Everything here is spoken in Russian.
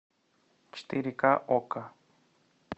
четыре ка окко